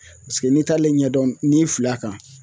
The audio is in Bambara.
Paseke n'i t'ale ɲɛdɔn n'i fili a kan